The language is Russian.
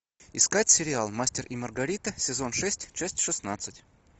искать сериал мастер и маргарита сезон шесть часть шестнадцать